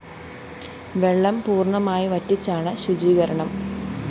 വെള്ളം പൂര്‍ണമായി വറ്റിച്ചാണ് ശുചീകരണം